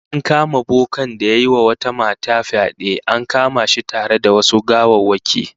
An kama bokan da yayi wata mata fyade, an kama shi tare da wasu gawawwaki